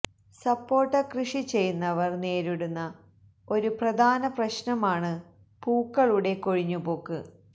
സപ്പോട്ട കൃഷി ചെയ്യുന്നവർ നേരിടുന്ന ഒരു പ്രാധാന പ്രശ്നം ആണ് പൂക്കളുടെ കൊഴിഞ്ഞുപോക്ക്